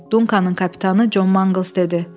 Dunkakanın kapitanı Con Mangles dedi.